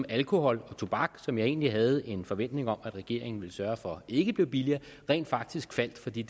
alkohol og tobak som jeg egentlig havde en forventning om at regeringen ville sørge for ikke blev billigere rent faktisk faldt fordi